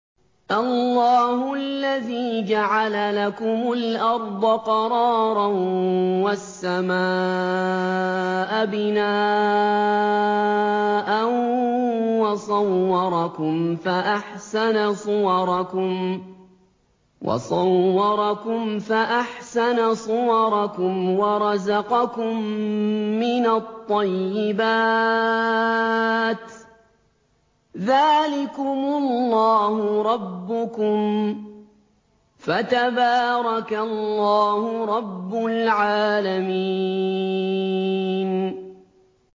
اللَّهُ الَّذِي جَعَلَ لَكُمُ الْأَرْضَ قَرَارًا وَالسَّمَاءَ بِنَاءً وَصَوَّرَكُمْ فَأَحْسَنَ صُوَرَكُمْ وَرَزَقَكُم مِّنَ الطَّيِّبَاتِ ۚ ذَٰلِكُمُ اللَّهُ رَبُّكُمْ ۖ فَتَبَارَكَ اللَّهُ رَبُّ الْعَالَمِينَ